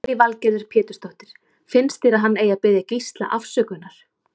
Lillý Valgerður Pétursdóttir: Finnst þér að hann eigi að biðja Gísla afsökunar?